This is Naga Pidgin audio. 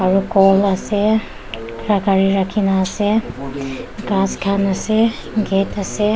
around ghor ase ekta gari khan rakhi na ase ghas khan ase gate ase.